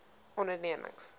ondernemings